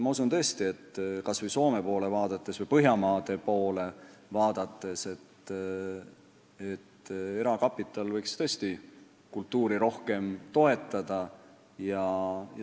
Ma usun, kas Soome poole või üldse Põhjamaade poole vaadates, et erakapital võiks tõesti kultuuri rohkem toetada.